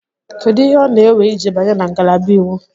Kedu ihe ọ na-ewe iji banye na ngalaba Iwu?